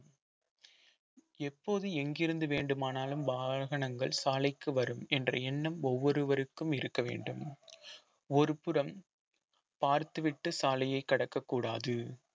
எப்போது எங்கிருந்து வேண்டுமானாலும் வாகனங்கள் சாலைக்கு வரும் என்ற எண்ணம் ஒவ்வொருவருக்கும் இருக்க வேண்டும் ஒருபுறம் பார்த்துவிட்டு சாலையை கடக்கக்கூடாது